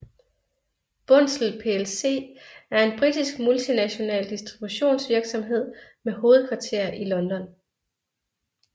Bunzl plc er en britisk multinational distributionsvirksomhed med hovedkvarter i London